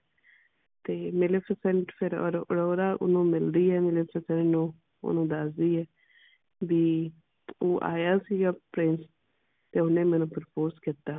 ਤੇ ਫਿਰ ਅਰੋ ਅਰੋੜਾ ਓਹਨੂੰ ਮਿਲਦੀ ਹੈ ਨੂੰ ਓਹਨੂੰ ਦਸ ਦੀ ਹੈ ਵੀ ਉਹ ਆਇਆ ਸੀ Prince ਤੇ ਓਹਨੇ ਮੈਨੂੰ ਕੀਤਾ